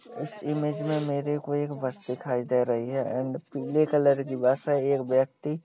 इस इमेज में मेरेको एक बस दिखाय दे रही है एंड पीले कलर की बस है एक व्यक्ति--